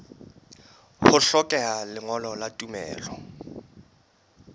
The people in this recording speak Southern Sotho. ho hlokeha lengolo la tumello